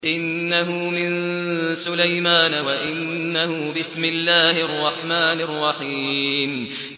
إِنَّهُ مِن سُلَيْمَانَ وَإِنَّهُ بِسْمِ اللَّهِ الرَّحْمَٰنِ الرَّحِيمِ